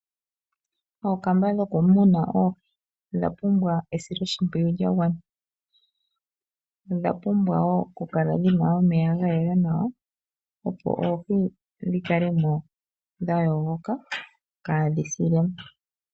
Ookamba dhokumuna oohi odha pumbw esiloshimpwiyu lya gwana. Odha pumbwa wo okukala dhina omeya ga gwana nawa, opo oohi dhi kale mo dha yogoka kaadhi sile mo.